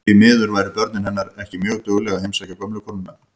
Því miður væru börnin hennar ekki mjög dugleg að heimsækja gömlu konuna.